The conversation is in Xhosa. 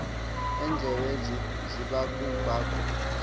endlebe zibaku baku